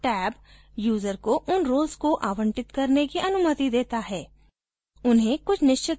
और list tab user को उन roles को आवंटित करने की अनुमति देता है